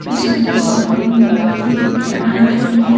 उसमें दो लोग मूर्ति बना रही है।